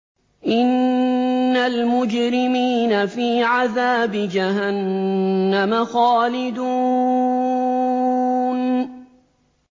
إِنَّ الْمُجْرِمِينَ فِي عَذَابِ جَهَنَّمَ خَالِدُونَ